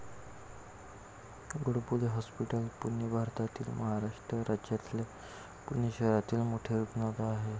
Godbole hospital, Pune भारतातील महाराष्ट्र राज्यातल्या पुणे शहरातील मोठे रुग्णालय आहे.